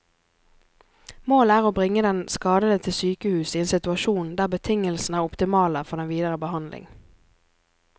Målet er å bringe den skadede til sykehus i en situasjon der betingelsene er optimale for den videre behandling.